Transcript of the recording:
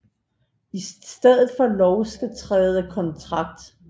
I stedet for lov skal træde kontrakt